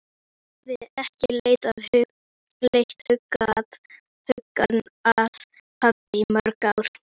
Vibeka, hvað er opið lengi í Brynju?